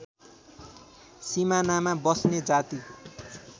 सिमानामा बस्ने जाति